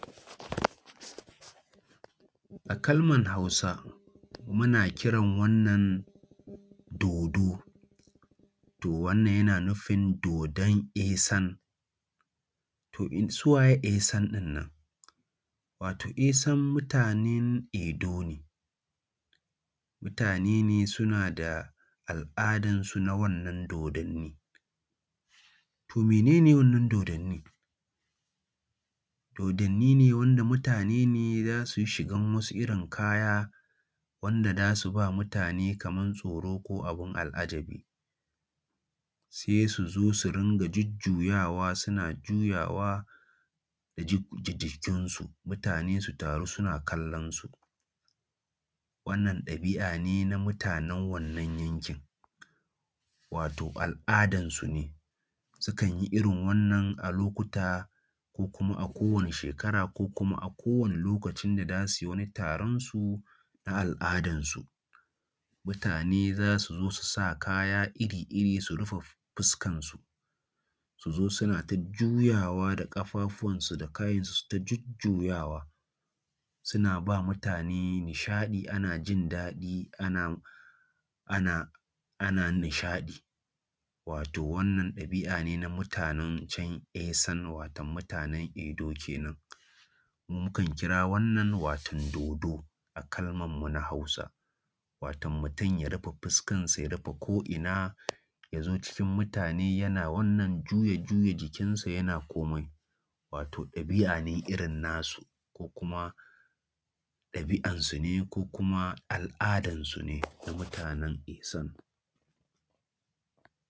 A kalmar Hausa muna kiran wannan dodo, to wannan yana nufin dodon Esan, to su waye Esan ɗina nan? Wato Esan mutanen Edo ne, mutane ne suna da al'adansu na wannan dodanni. To mene ne wannan dodannin? Dodanni ne wanda mutane ne za su yi shiga wasu irin kaya wanda za su ba mutane kaman tsoro ko abin al'ajabi, sai su zo su ringa jujjuyawa suna juyawa da jijjiga jikinsu, mutane su taru suna kallonsu. Wannan ɗabi'a ne na mutanen wannan yankin, wato al'adansu ne, sukan yi irin wannan a lokuta ko kuma a kowane shekara ko kuma a kowane lokacin da za su yi wani taron su na al'adansu. Mutane za su zo su sa kaya iri-iri su rufe fuska su, su zo suna ta juyawa da ƙafafuwansu da kayinsu su yi ta jujjuyawa suna ba mutane nishaɗi ana jindaɗi ana ana ana nishaɗi, wato wannan ɗabi'a ne na mutanen can Esan wato mutanen Edo kenan. Mu kan kira wannan wato dodo a kalmar mu na Hausa, wato mutum ya rufe fuska da ya rufe ko'ina, ya zo cikin mutane yana wannan juya-juya jikinsa yana komai, wato dabi'a ne irin na su ko kuma ɗabi'ansu ne ko kuma al'adansu ne na mutanen Esan.